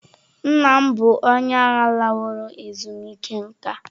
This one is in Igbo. Nna m bụ onye agha laworo ezumike nka.